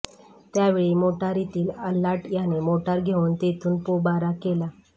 त्यावेळी मोटारीतील आल्हाट याने मोटार घेऊन तेथून पोबारा केला